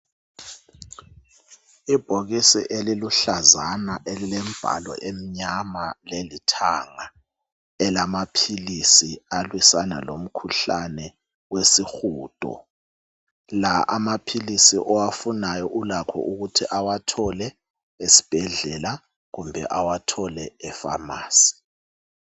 ibhokisi eliluhlazana elilesivalo emnyama lelithanga elamaphilisi alwisana lomkhuhlane wesihudo, la amaphilisi owafunayo ulakho ukuthi uwathole esibhedlela kumbe awathole e pharmacy